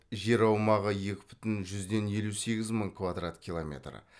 жер аумағы екі бүтін жүзден елу сегіз мың квадрат километр